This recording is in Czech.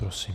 Prosím.